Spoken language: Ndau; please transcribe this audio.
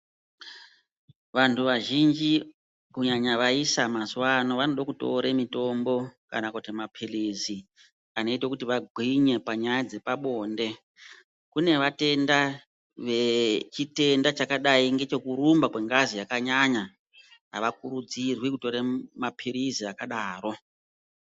Vantu vazhinji kunyanya vaisa mazuwa ano vanoda kutore mitombo kana kuti mapirizi anoita kuti vagwinye panyaya dzepabode. Kune vatenda vechitenda chakadai ngechekurumba kwengazi yakanyanya avakurudzirwi kutore mapirizi akadaro.